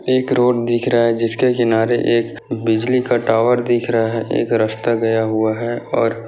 एक रोड दिख रहा है जिसके किनारे एक बिजली का टावर दिख रहा है एक रस्ता गया हुआ है और --